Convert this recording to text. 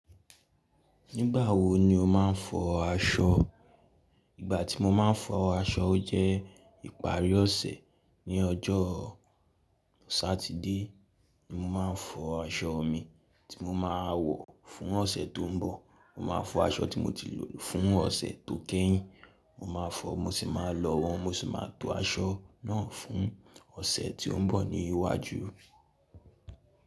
Nígbà wo ni o máa ń fọ aṣọ? Ìgbà tí mo máa ń fọ aṣọ jẹ́ ìparí ọ̀sẹ̀. Ni ọjọ́ Satide ni mo máa ń fọ aṣọ mi tí mo máa wọ̀ fún ọ̀sẹ̀ tó ń bọ̀. Mo máa fọ aṣọ tí mo ti lò fún ọ̀sẹ̀ tó kẹ́yìn, mo máa fọ, mo sì máa lọ wọ̀n, mo sì máa to aṣọ náà fún ọ̀sẹ̀ tí ó ń bọ̀ ní iwájú.